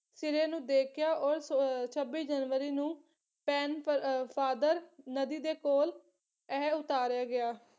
ਸਿਰੇ ਨੂੰ ਦੇਖਿਆ ਔਰ ਅਹ ਛੱਬੀ ਜਨਵਰੀ ਨੂੰ ਪੈਨ ਅਹ ਫਾਥਰ ਨਦੀ ਦੇ ਕੋਲ ਐ ਉਤਾਰਿਆ ਗਿਆ